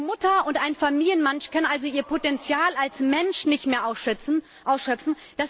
Eine Mutter und ein Familienmensch kann also ihr Potenzial als Mensch nicht mehr ausschöpfen?